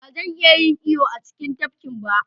Ba zan iya yin iyo a cikin tafkin ba.